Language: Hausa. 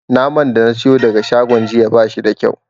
Naman da na siyo daga shagon jiya ba shi da kyau.